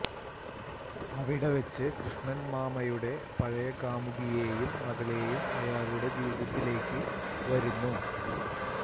അവിടെ വച്ച് കൃഷ്ണൻ മാമയുടെ പഴയ കാമുകിയെയും മകളേയും അയാളുടെ ജീവിതത്തിലേക്ക് വരുന്നു